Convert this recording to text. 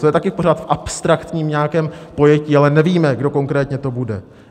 To je taky pořád v abstraktním nějakém pojetí, ale nevíme, kdy konkrétně to bude.